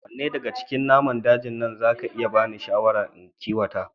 Wanne daga cikin naman dajin nan za ka iya bani shawara in kiwata